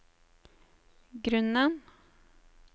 grunnen